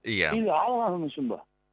ия или алғаным үшін ба